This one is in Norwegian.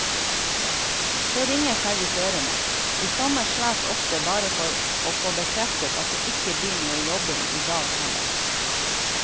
Så ringer servitørene, i sommer svært ofte bare for å få bekreftet at det ikke blir noe jobbing i dag heller.